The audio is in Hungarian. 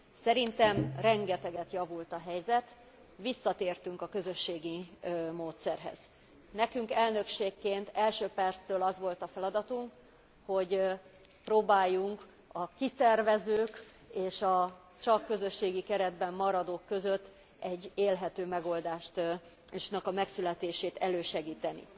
Szerintem rengeteget javult a helyzet, visszatértünk a közösségi módszerhez. Nekünk, elnökségként első perctől az volt a feladatunk, hogy próbáljuk a kiszervezők és a csak közösségi keretben maradók között egy élhető megoldásnak a megszületését elősegíteni.